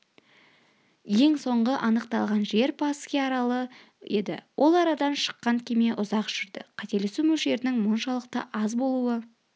ең соңғы анықталған жер пасхи аралы еді ол арадан шыққалы кеме ұзақ жүрді қателесу мөлшерінің мұншалықты аз болуы